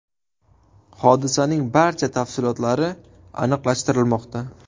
Hodisaning barcha tafsilotlari aniqlashtirilmoqda.